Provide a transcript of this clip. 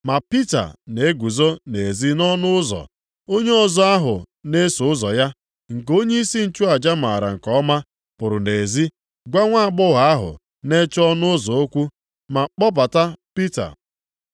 Ma Pita na-eguzo nʼezi nʼọnụ ụzọ. Onye ọzọ ahụ na-eso ụzọ ya, nke onyeisi nchụaja maara nke ọma, pụrụ nʼezi gwa nwaagbọghọ ahụ na-eche ọnụ ụzọ okwu, ma kpọbata Pita.